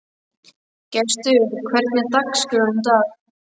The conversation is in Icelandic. Gestur, hvernig er dagskráin í dag?